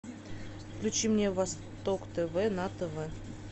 включи мне восток тв на тв